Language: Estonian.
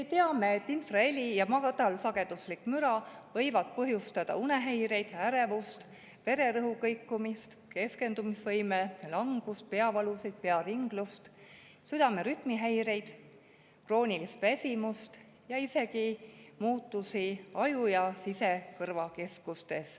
Me teame, et infraheli ja madalsageduslik müra võivad põhjustada unehäireid, ärevust, vererõhu kõikumist, keskendumisvõime langust, peavalusid, pearinglust, südame rütmihäireid, kroonilist väsimust ja isegi muutusi ajus ja sisekõrvas.